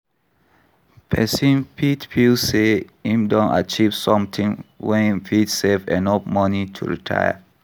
Person fit feel sey im don achieve something when im fit save enough money to retire